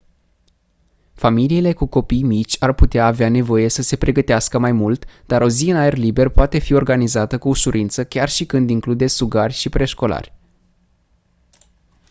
familiile cu copii mici ar putea avea nevoie să se pregătească mai mult dar o zi în aer liber poate fi organizată cu ușurință chiar și când include sugari și preșcolari